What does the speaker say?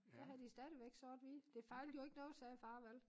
Der havde de stadivæk sort-hvid det fejlede jo ikke noget sagde far vel